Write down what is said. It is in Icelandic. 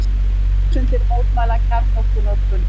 Þúsundir mótmæla kjarnorkunotkun